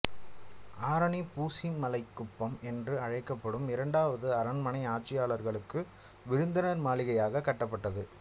ஆரணி பூசிமலைக்குப்பம் என்று அழைக்கப்படும் இரண்டாவது அரண்மனை ஆட்சியாளர்களுக்கு விருந்தினர் மாளிகையாக கட்டப்பட்டது